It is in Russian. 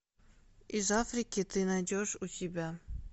из африки ты найдешь у себя